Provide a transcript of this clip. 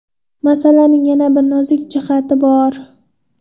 Masalaning yana bir nozik jihati bor.